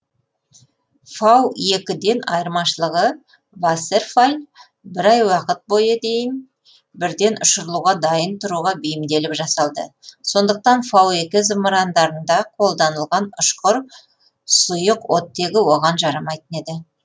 фау екі ден айырмашылығы вассерфалль бір ай уақыт бойы дейін бірден ұшырылуға дайын тұруға бейімделіп жасалды сондықтан фау екі зымырандарында қолданылған ұшқыр сұйық оттегі оған жарамайтын еді